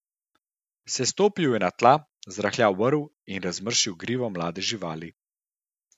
Sestopil je na tla, zrahljal vrv in razmršil grivo mlade živali.